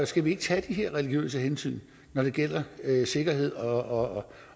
skal vi ikke tage de her religiøse hensyn når det gælder sikkerhed og